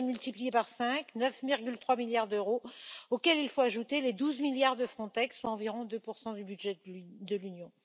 Un budget multiplié par cinq, soit 9,3 milliards d'euros, auxquels il faut ajouter les 12 milliards de Frontex, soit environ 2 du budget de l'Union.